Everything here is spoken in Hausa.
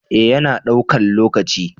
eh ya na daukan lokaci